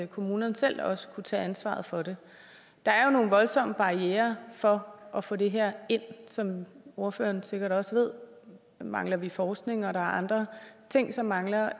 kommunerne selv også kunne tage ansvaret for det der er jo nogle voldsomme barrierer for at få det her ind som ordføreren sikkert også ved mangler vi forskning og der er andre ting som mangler